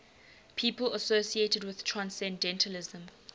people associated with transcendentalism